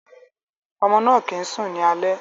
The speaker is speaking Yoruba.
Ọmọ náà kìí sùn ní alẹ́.